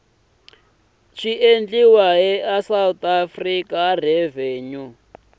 na va south african revenue